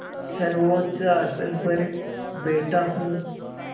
सर्वोच्च आसन पर बैठा हूँ